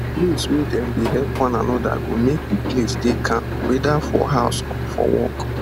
place wey dem dey help one anoda go make the place dey calm weda for house or for work